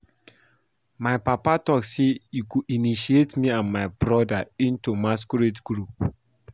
My papa talk say he go initiate me and my broda into the masquerade group